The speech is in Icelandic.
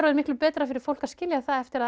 miklu betra fyrir fólk að skilja það eftir að